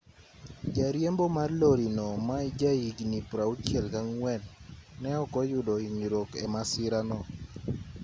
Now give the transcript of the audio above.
jariembo mar lori no ma ja higni 64 ne ok oyudo hinyruok e masira no